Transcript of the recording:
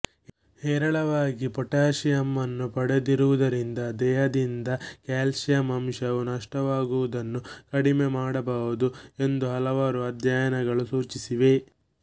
ಹೇರಳವಾಗಿ ಪೊಟಾಷಿಯಂನ್ನು ಪಡೆಯುವುದರಿಂದ ದೇಹದಿಂದ ಕ್ಯಾಲ್ಷಿಯಂ ಅಂಶವು ನಷ್ಟವಾಗುವುದನ್ನು ಕಡಿಮೆ ಮಾಡಬಹುದು ಎಂದು ಹಲವಾರು ಅಧ್ಯಯನಗಳು ಸೂಚಿಸಿವೆ